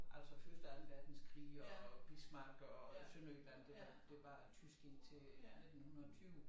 Altså første og anden verdenskrig og Bismarck og Sønderjylland det var det var tysk indtil 1920